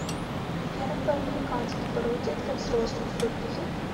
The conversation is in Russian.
афера по американски пародия для взрослых вруби